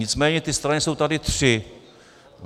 Nicméně ty strany jsou tady tři.